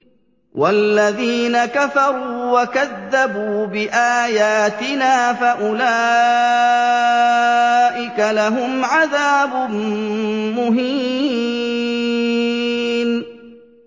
وَالَّذِينَ كَفَرُوا وَكَذَّبُوا بِآيَاتِنَا فَأُولَٰئِكَ لَهُمْ عَذَابٌ مُّهِينٌ